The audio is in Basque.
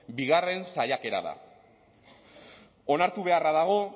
bigarren saiakera da onartu beharra dago